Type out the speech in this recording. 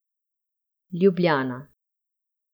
Ljubljana.